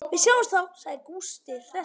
Við sjáumst þá, sagði Gústi hress.